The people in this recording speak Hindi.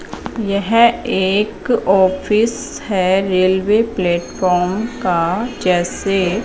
यह एक ऑफिस हैं रेलवे प्लेटफॉम का जैसे--